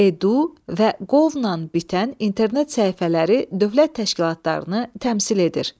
Edu və govla bitən internet səhifələri dövlət təşkilatlarını təmsil edir.